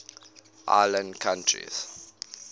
island countries